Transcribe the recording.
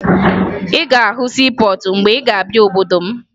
Ị ga-ahụ siipọọtụ mgbe ị ga-abịa n'obodo m